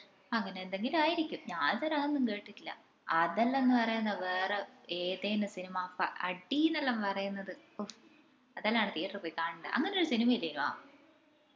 അങ്ങനെ എന്തെങ്കിലുമായിരിക്കും ഞാൻ ഇതുവരെ അതൊന്നും കേട്ടിട്ടില്ല അതെല്ലോന്ന പറേന്നത് വേറെ ഏതിനു സിനിമ പ അടിന്നെല്ലോം പറേന്നത് ഉഹ്ഫ്‌ അതെല്ലാന്ന് theatre പോയി കാണണ്ടത് അങ്ങനൊരി സിനിമ ഇല്ലെന്വ